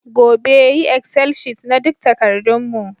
Gobe, yi excel sheet na duk takardun mu